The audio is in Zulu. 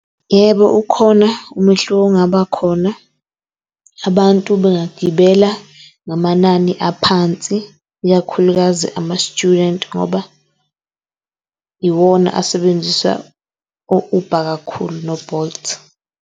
Yebo, ukhona umehluko ongaba khona. Abantu bangagibela ngamanani aphansi, ikakhulukazi ama-student ngoba iwona asebenzisa o-Uber kakhulu no-Bolt.